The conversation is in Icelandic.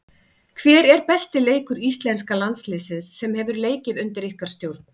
Hver er besti leikur íslenska landsliðsins hefur leikið undir ykkar stjórn?